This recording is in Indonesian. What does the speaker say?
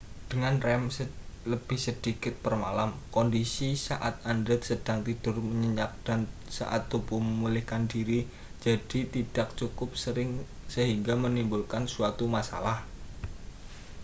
dengan rem lebih sedikit per malam kondisi saat anda sedang tertidur nyenyak dan saat tubuh memulihkan diri jadi tidak cukup sering sehingga menimbulkan suatu masalah